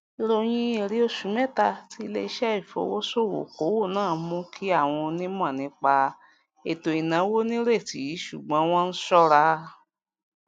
ìròyìn èrè oṣù mẹta ti iléiṣẹ ìfowósokowo náà mú kí àwọn onímọ nípa ètò ìnáwó nírètí ṣùgbọn wọn n ṣọra